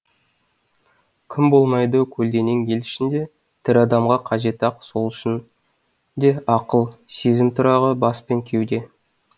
кім болмайды көлденең ел ішінде тірі адамға қажет ақ сол үшін де ақыл сезім тұрағы бас пен кеуде